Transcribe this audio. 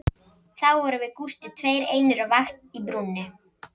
Þá vorum við Gústi tveir einir á vakt í brúnni